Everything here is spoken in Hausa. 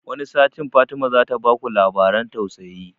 Wani satin Fatima zata baku labaran tatsuniya